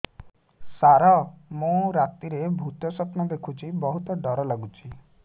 ସାର ମୁ ରାତିରେ ଭୁତ ସ୍ୱପ୍ନ ଦେଖୁଚି ବହୁତ ଡର ଲାଗୁଚି